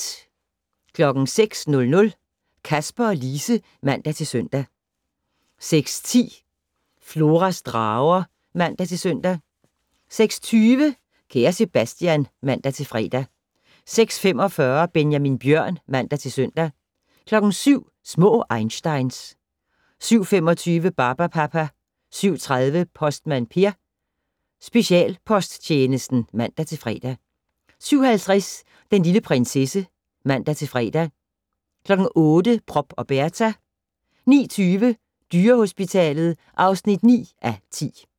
06:00: Kasper og Lise (man-søn) 06:10: Floras drager (man-søn) 06:20: Kære Sebastian (man-fre) 06:45: Benjamin Bjørn (man-søn) 07:00: Små einsteins 07:25: Barbapapa 07:30: Postmand Per: Specialposttjenesten (man-fre) 07:50: Den lille prinsesse (man-fre) 08:00: Prop og Berta 09:20: Dyrehospitalet (9:10)